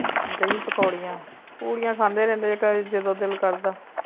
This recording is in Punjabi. ਦਹੀਂ ਪੋਕਰੀਆਂ ਪੂਰੀਆਂ ਖਾਂਦੇ ਰਹਿੰਦੇ ਕਦੀ ਜਦੋ ਦਿਲ ਕਰਦਾ